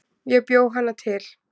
Ég bjó hana til